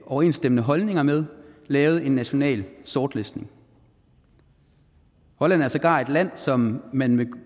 overensstemmende holdninger med lavet en national sortlistning holland er sågar et land som man med